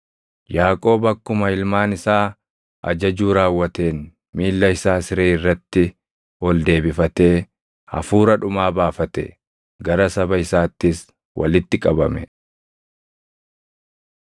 Yaaqoob akkuma ilmaan isaa ajajuu raawwateen miilla isaa siree irratti ol deebifatee hafuura dhumaa baafate; gara saba isaattis walitti qabame.